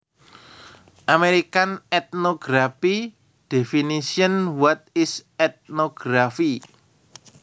American Ethnography Definitions What is Ethnography